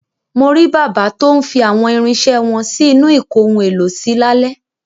Mo rí bàbá tó ń fi àwọn irinṣẹ́ wọn sí inú ìkóhun-èlò-sí lálẹ́.